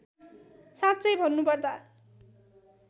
साँच्चै भन्नुपर्दा